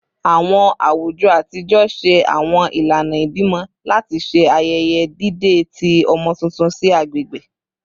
Awọn awujọ atijọ ṣe awọn ilana ibimọ lati ṣe ayẹyẹ dide ti awọn ọmọ tuntun si agbegbe